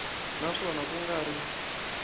na swona ku nga ri